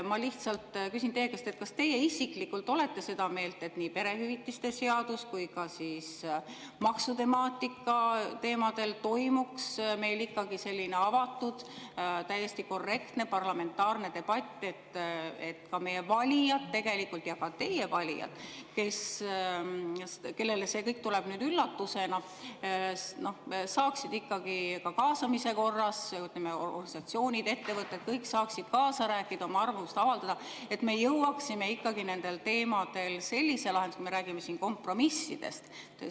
Ma lihtsalt küsin teie käest: kas teie isiklikult olete seda meelt, et nii perehüvitiste seaduse kui ka maksutemaatika teemadel toimuks meil ikkagi avatud, täiesti korrektne parlamentaarne debatt, et meie valijad ja ka teie valijad, kellele see kõik tuleb üllatusena, saaksid ikkagi kaasamise korras, ütleme, organisatsioonid ja ettevõtted, kõik saaksid kaasa rääkida, oma arvamust avaldada, et me jõuaksime nendel teemadel lahenduseni, kui me räägime siin kompromissist?